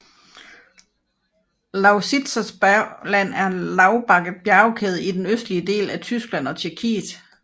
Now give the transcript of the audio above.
Lausitzer Bergland er en lav bakket bjergkæde i den østlige del af Tyskland og i Tjekkiet